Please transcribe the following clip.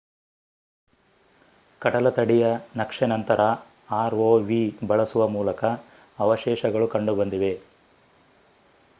ಕಡಲತಡಿಯ ನಕ್ಷೆನಂತರ ಆರ್ಒವಿ ಬಳಸುವ ಮೂಲಕ ಅವಶೇಷಗಳು ಕಂಡುಬಂದಿದೆ